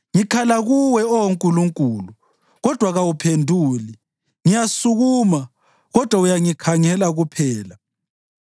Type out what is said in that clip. Ngikhala kuwe, Oh Nkulunkulu, kodwa kawuphenduli; ngiyasukuma, kodwa uyangikhangela kuphela.